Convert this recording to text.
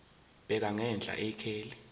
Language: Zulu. bheka ngenhla ikheli